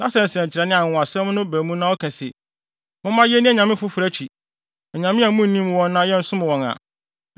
na sɛ nsɛnkyerɛnne anaa anwonwasɛm no ba mu na ɔka se, “Momma yenni anyame afoforo akyi (anyame a munnim wɔn) na yɛnsom wɔn” a,